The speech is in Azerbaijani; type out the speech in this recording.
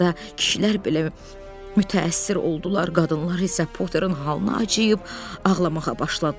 Hətta kişilər belə mütəəssir oldular, qadınlar isə Potterin halına acıyıb ağlamağa başladılar.